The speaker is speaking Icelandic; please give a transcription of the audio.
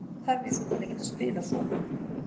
Hvað þarf ég svo til að geta spilað svona?